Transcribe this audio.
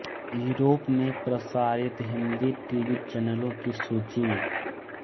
Europe में प्रसारित Hindi TV चैनेलों की सूची